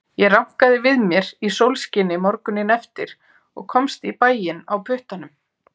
Ég rankaði við mér í sólskini morguninn eftir og komst í bæinn á puttanum.